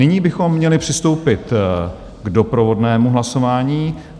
Nyní bychom měli přistoupit k doprovodnému hlasování.